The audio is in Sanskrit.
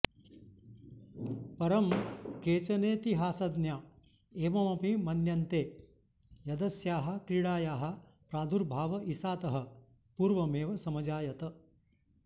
परं केचनेतिहासज्ञा एवमपि मन्यन्ते यदस्याः क्रीडायाः प्रादुर्भाव ईसातः पूर्वमेव समजायत